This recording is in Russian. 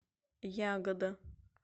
ягода